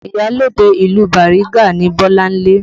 Iyalode ìlú Bariga ni Bolanle